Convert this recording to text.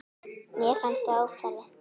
Mér fannst það óþarfi.